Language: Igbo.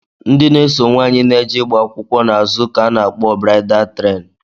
Ndị na-eso nwaanyị na-eje ịgba akwụkwọ n'azụ ka a na-akpọ braịdal tren